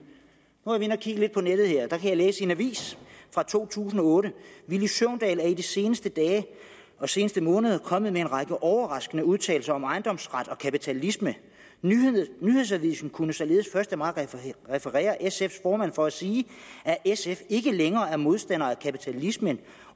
nu været inde at kigge lidt på nettet og jeg kan læse i en avis fra 2008 villy søvndal er i de seneste dage og seneste måneder kommet med en række overraskende udtalelser om ejendomsret og kapitalisme nyhedsavisen kunne således første maj referere sf’s formand for at sige at sf ikke længere er modstander af kapitalismen